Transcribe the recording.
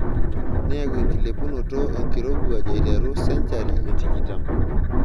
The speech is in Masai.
Neyau enkilepunotot enkirowuaj aiteru sencahri e tikitam.